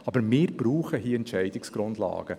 Aber wir brauchen hier Entscheidungsgrundlagen.